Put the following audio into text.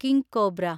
King cobra